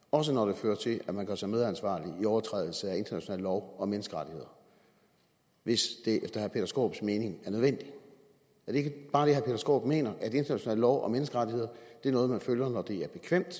også når det fører til at man gør sig medansvarlig i overtrædelse af international lov og menneskerettigheder hvis det efter herre peter skaarups mening er nødvendigt er det ikke bare det herre peter skaarup mener at international lov og menneskerettigheder er noget man følger når det er bekvemt